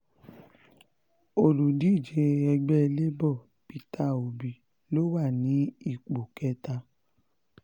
olùdíje ẹgbẹ́ labour peter obi ló wà ní ipò kẹta